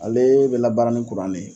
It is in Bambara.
Ale bɛ labaara ni ye.